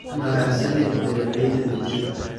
Mahadsanid beeralayda digirta.